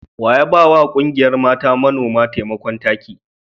Wa ya ba wa ƙungiyar mata manoma taimakon taki?